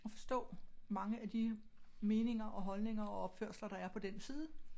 At forstå mange af de meninger og holdninger og opførsler der er på den side